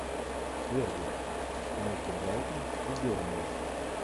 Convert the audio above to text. дерби между брайтон и бернли